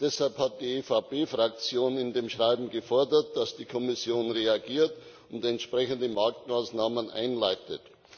Deshalb hat die EVP Fraktion in dem Schreiben gefordert, dass die Kommission reagiert und entsprechende Marktmaßnahmen einleitet.